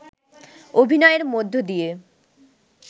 অভিনয়ের মধ্যদিয়ে